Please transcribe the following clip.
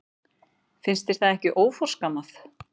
Finnst þér það ekki óforskammað?